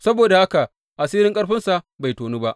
Saboda haka asirin ƙarfinsa bai tonu ba.